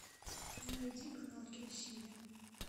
найди канал киносемья